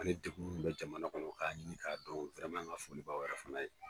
Ani degun min bɛ jamana kɔnɔ k'a ɲini k'a dɔn wɛrɛman an ka fɔli bɛ aw yɛrɛ fana ye.